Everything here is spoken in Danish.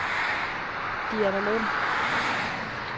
Dianalund